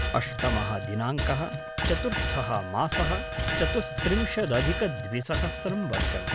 अष्टमः दिनाङ्कः-चतुर्थः मासः - चतुस्त्रिंशदधिकद्विसहस्रं वर्षम्